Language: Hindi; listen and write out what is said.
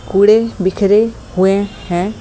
कूड़े बिखरे हुए हैं।